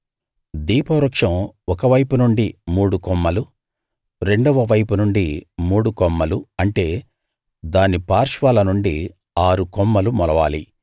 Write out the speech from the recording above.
దీప వృక్షం ఒక వైపు నుండి మూడు కొమ్మలు రెండవ వైపు నుండి మూడు కొమ్మలు అంటే దాని పార్శ్వాల నుండి ఆరుకొమ్మలు మొలవాలి